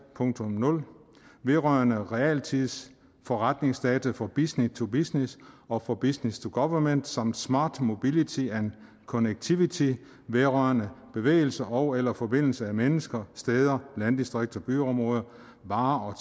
vedrørende realtids forretningsdata for business to business og for business to government samt smart mobility and connectivity vedrørende bevægelse ogeller forbindelse af mennesker steder varer og